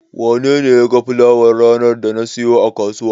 Wanene ya ga fulawar ranar da na siyo a kasuwa?